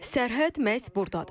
Sərhəd məhz burdadır.